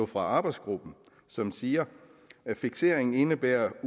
fra arbejdsgruppen som siger at fikseringen indebærer at